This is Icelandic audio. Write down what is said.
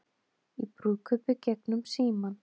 Í brúðkaupi gegnum símann